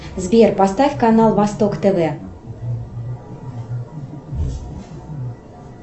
сбер поставь канал восток тв